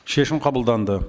шешім қабылданды